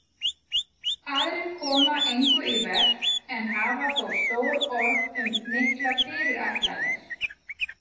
Aðrir koma engu í verk en hafa þó stór orð um miklar fyrirætlanir.